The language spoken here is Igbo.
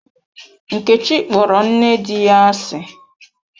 Nkechi kpọrọ nne di ya asị.